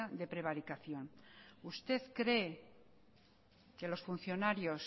de prevaricación usted cree que los funcionarios